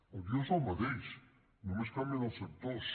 el guió és el mateix només canvien els actors